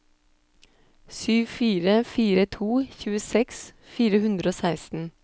sju fire fire to tjueseks fire hundre og seksten